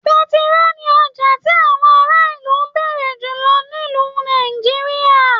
Pẹ̀tiroo ní ọjà ti àwọn ara ilú n béèrè julọ nílu Nàìjíríà.